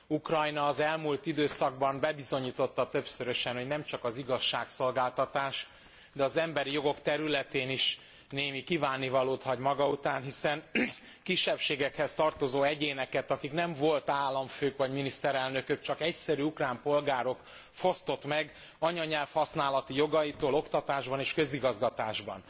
Ukrajna az elmúlt időszakban bebizonyította többszörösen, hogy nemcsak az igazságszolgáltatás, de az emberi jogok területén is némi kívánnivalót hagy maga után, hiszen kisebbségekhez tartozó egyéneket akik nem volt államfők vagy miniszterelnökök, csak egyszerű ukrán polgárok fosztott meg anyanyelv használati jogaitól oktatásban és közigazgatásban.